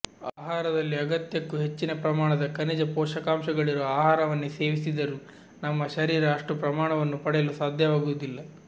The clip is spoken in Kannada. ಆಹಾರದಲ್ಲಿ ಅಗತ್ಯಕ್ಕೂ ಹೆಚ್ಚಿನ ಪ್ರಮಾಣದ ಖನಿಜ ಪೋಷಕಾಂಶಗಳಿರುವ ಆಹಾರವನ್ನೇ ಸೇವಿಸಿದರೂ ನಮ್ಮ ಶರೀರ ಅಷ್ಟೂ ಪ್ರಮಾಣವನ್ನು ಪಡೆಯಲು ಸಾಧ್ಯವಾಗುವುದಿಲ್ಲ